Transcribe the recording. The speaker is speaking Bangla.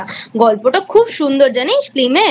গল্পটা খুব সুন্দর জানিস Film এর?